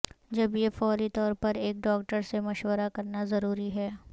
جب یہ فوری طور پر ایک ڈاکٹر سے مشورہ کرنا ضروری ہے